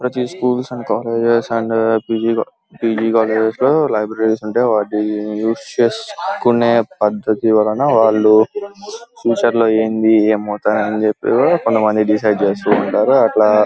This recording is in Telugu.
స్కూల్స్ అండ్ కాలేజెస్ లో లైబ్రరీస్ ఉంటాయి వాటిని యూస్ చేసుకునె పద్దతి వలన వాళ్ళు ఫ్యూచర్ లో ఏంది ఏమవుతారు అనేది కూడా కొంతమంది డిసైడ్ చేస్తారు అట్లా.